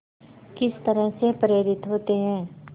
किस तरह से प्रेरित होते हैं